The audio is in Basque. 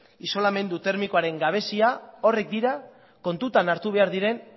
isolamendu termikoaren gabezia horiek dira kontutan hartu behar diren